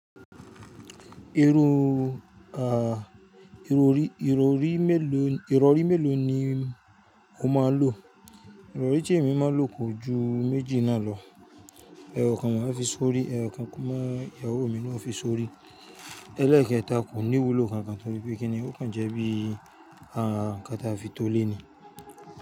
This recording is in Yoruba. Ìrọ̀rí mélòó ni o máa n lò? Irori ti emi maa n lo ko ju meji naa lo. Ẹ̀wọ̀ kan wà tí a fi ṣọ́rí, ẹ̀wọ̀ mi ni wọ́n fi ṣọ́rí. Ẹlẹ́ẹ̀kẹ́ta kò ní wúlò kankan torí pé kíni ó kàn jẹ́ bí ǹkan tí a fi to léni.